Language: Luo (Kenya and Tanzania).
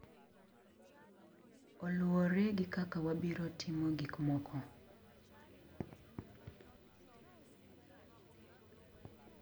Oluwore gi kaka wabiro timo gik moko.